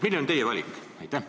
Milline on teie valik?